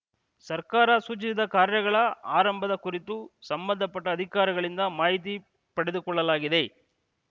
ಸರ್ಕಾರ ಸೂಚಿಸಿದ ಕಾರ್ಯಗಳ ಆರಂಭದ ಕುರಿತು ಸಂಬಂಧಪಟ್ಟ ಅಧಿಕಾರಿಗಳಿಂದ ಮಾಹಿತಿ ಪಡೆದುಕೊಳ್ಳಲಾಗಿದೆ